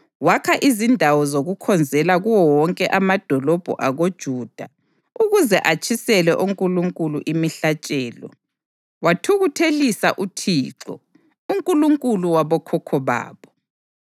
Wakha izindawo zokukhonzela kuwo wonke amadolobho akoJuda ukuze atshisele onkulunkulu imihlatshelo; wathukuthelisa uThixo, uNkulunkulu wabokhokho babo.